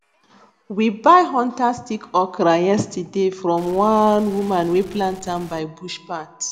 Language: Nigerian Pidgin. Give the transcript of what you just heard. we buy hunter stick okra yesterday from one woman wey plant am by bush path